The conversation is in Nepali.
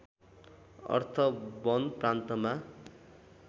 अर्थ वन प्रान्तमा